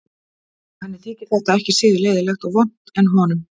Og henni þyki þetta ekki síður leiðinlegt og vont en honum.